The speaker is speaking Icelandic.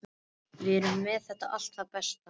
Við erum með allt það besta.